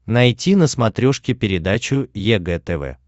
найти на смотрешке передачу егэ тв